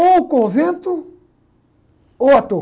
Ou o convento, ou ator.